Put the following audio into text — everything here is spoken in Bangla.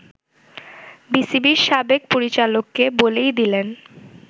বিসিবির সাবেক পরিচালককে বলেই দিলেন